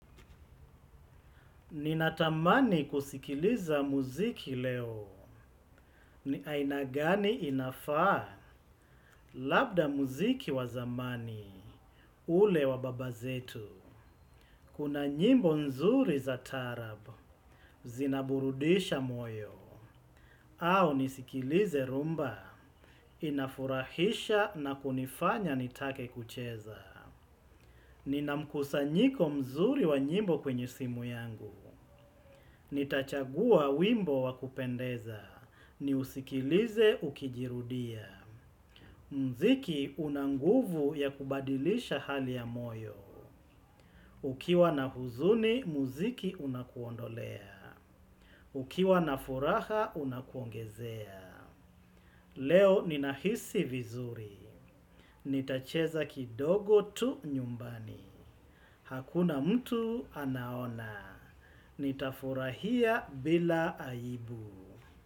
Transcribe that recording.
Ninatamani kusikiliza muziki leo, ni ainagani inafaa labda muziki wazamani ule wa baba zetu. Kuna nyimbo nzuri za tarabu, zinaburudisha moyo, au nisikilize rumba, inafurahisha na kunifanya nitake kucheza. Ni na mkusa nyiko mzuri wa nyimbo kwenye simu yangu. Nitachagua wimbo wakupendeza. Ni usikilize ukijirudia. Mziki unanguvu ya kubadilisha hali ya moyo. Ukiwa na huzuni, muziki unakuondolea. Ukiwa na furaha, unakuongezea. Leo ninahisi vizuri. Nitacheza kidogo tu nyumbani. Hakuna mtu anaona. Nitafurahia bila aibu.